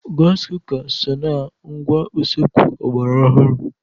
Gasị kuka so na ngwá usekwu ọgbara ọhurụ.